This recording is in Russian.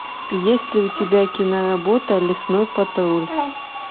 есть ли у тебя киноработа лесной патруль